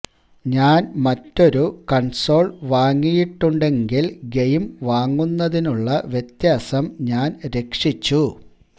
ഞാൻ മറ്റൊരു കൺസോൾ വാങ്ങിയിട്ടുണ്ടെങ്കിൽ ഗെയിം വാങ്ങുന്നതിനുള്ള വ്യത്യാസം ഞാൻ രക്ഷിച്ചു